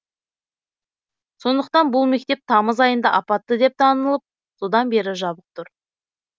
сондықтан бұл мектеп тамыз айында апатты деп танылып содан бері жабық тұр